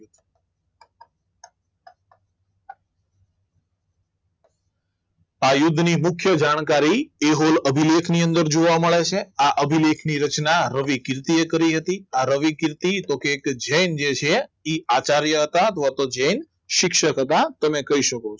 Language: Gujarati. આ યુદ્ધની મુખ્ય જાણકારી એહુલ અભિલેખ ની અંદર જોવા મળે છે આ અભિલેખની રચના રવિ કીર્તિ એ કરી હતી આર રવિ કીર્તિ તો કે એક જૈન છે જે આચાર્ય હતા તો તો આજે શિક્ષક હતા તમે કહી શકો